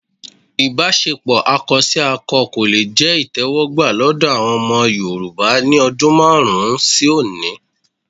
Ìbáṣepọ̀ akọsákọ kò le jẹ́ ìtẹ́wọ́gbà lọ́dọ̀ àwọn ọmọ Yorùbá ní ọdún márùn-ún sí òní